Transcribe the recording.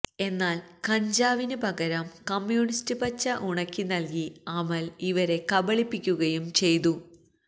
എന്നാൽകഞ്ചാവിന് പകരം കമ്മ്യൂണിസ്റ്റ് പച്ച ഉണക്കി നൽകി അമൽ ഇവരെ കബളിപ്പിക്കുകയും ചെയതു